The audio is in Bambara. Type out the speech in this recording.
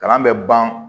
Kalan bɛ ban